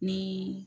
Ni